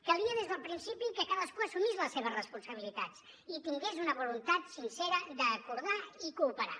calia des del principi que cadascú assumís les seves responsabilitats i tingués una voluntat sincera d’acordar i cooperar